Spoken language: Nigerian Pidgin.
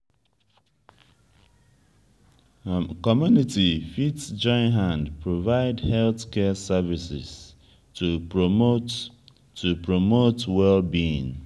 community fit join hand provide health care services to promote to promote well being